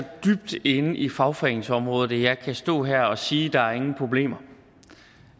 dybt inde i fagforeningsområdet at jeg kan stå her og sige at der ingen problemer